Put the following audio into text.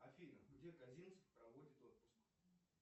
афина где козинцев проводит отпуск